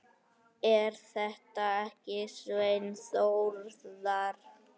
Er þetta ekki Svenni Þórðar?